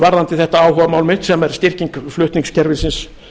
varðandi þetta áhugamál mitt sem er styrking flutningskerfisins